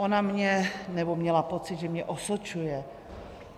Ona mě... nebo měla pocit, že mě osočuje.